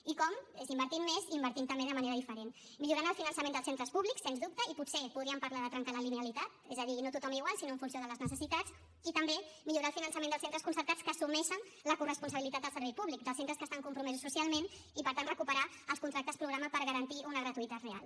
i com és invertint més i invertint també de manera diferent millorant el finançament dels centres públics sens dubte i potser podríem parlar de trencar la linealitat és a dir no tothom igual sinó en funció de les necessitats i també millorar el finançament dels centres concertats que assumeixen la corresponsabilitat del servei públic dels centres que estan compromesos socialment i per tant recuperar els contractes programa per garantir una gratuïtat real